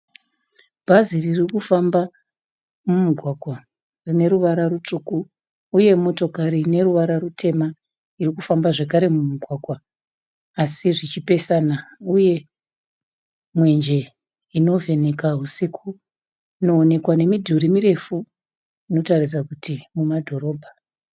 bhazi ririkufamba mumugwagwa rineruvara rusvuku. Uye motokare ineruvara rutema ikufamba zvakare mumugwagwa asi zvichipesana uye mwenje inoveka wusiku inowonekwa nemiduri mirefu inoratidza kuti mudorobha.